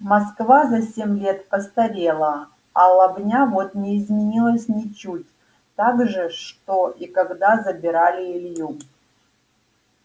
москва за семь лет постарела а лобня вот не изменилась ничуть также что и когда забирали илью